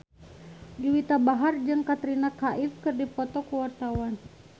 Juwita Bahar jeung Katrina Kaif keur dipoto ku wartawan